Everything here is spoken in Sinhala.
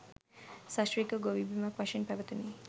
සශ්‍රීක ගොවි බිමක් වශයෙන් පැවතුනි.